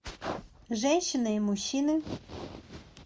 женщины и мужчины